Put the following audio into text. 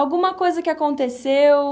Alguma coisa que aconteceu?